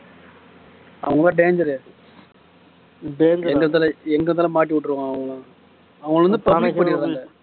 அவங்க எல்லாம் danger எங்க தல எங்க தல மாட்டி விட்டுறாங்க அவங்க அவங்க வந்து public பண்ணிடறாங்க